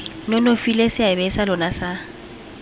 nonofile seabe sa lona sa